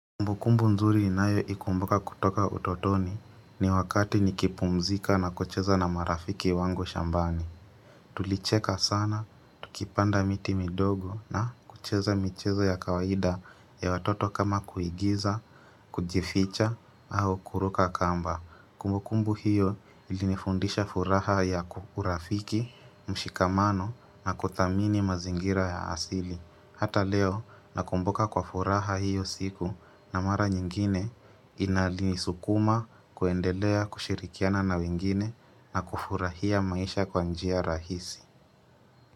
Kumbukumbu mzuri ninayo ikumbuka kutoka utotoni ni wakati nikipumzika na kucheza na marafiki wangu shambani. Tulicheka sana, tukipanda miti midogo na kucheza michezo ya kawaida ya watoto kama kuigiza, kujificha, au kuruka kamba. Kumbukumbu hiyo ilinifundisha furaha ya urafiki, mshikamano na kuthamini mazingira ya asili. Hata leo nakumbuka kwa furaha hiyo siku na mara nyingine inalinisukuma kuendelea kushirikiana na wengine na kufurahia maisha kwa njia rahisi.